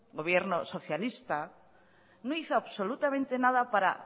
gobierno socialista no hizo absolutamente nada para